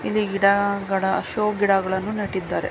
ಇಲ್ಲಿ ಗಿಡಗಳ ಶೋ ಗಿಡಗಳನ್ನು ನೆಟ್ಟಿದ್ದಾರೆ.